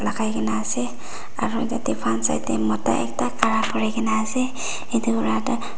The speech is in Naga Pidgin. lagai kina ase aru tate front side te mota ekta khara kori ase etu para tu--